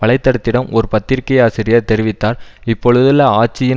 வலைதடத்திடம் ஓர் பத்திரிகை ஆசிரியர் தெரிவித்தார் இப்பொழுதுள்ள ஆட்சியின்